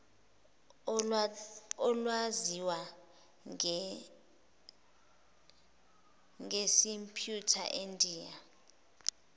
olwaziwa ngesimputer endiya